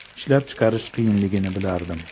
Ishlab chiqarish qiyinligini bilardim.